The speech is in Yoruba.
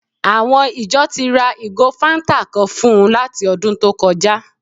Àwọn ìjọ ti ra ìgò fáńtà kan fún un láti ọdún tó kọjá